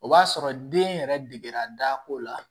O b'a sɔrɔ den yɛrɛ degera dako la